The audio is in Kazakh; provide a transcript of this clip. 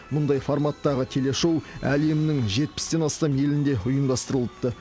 мұндай форматтағы телешоу әлемнің жетпістен астам елінде ұйымдастырылыпты